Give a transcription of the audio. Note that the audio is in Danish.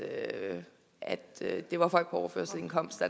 er at det var folk på overførselsindkomst